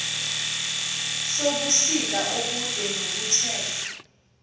sobusika obude nokuthe